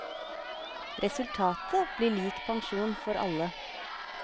Resultatet blir lik pensjon for alle.